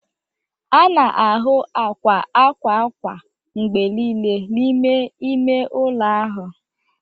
a na-ahụ akwa akwa akwa mgbe niile n'ime ime ụlọ ịwụ ahụ